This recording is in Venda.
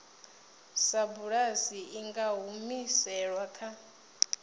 sapulasi i nga humiselwa kha